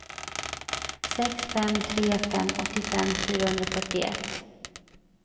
sex fem tre fem åttiofem fyrahundrafyrtioett